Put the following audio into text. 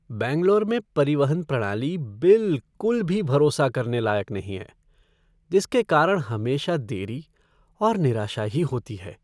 बैंगलोर में परिवहन प्रणाली बिलकुल भी भरोसा करने लायक नहीं है, जिसके कारण हमेशा देरी और निराशा ही होती है।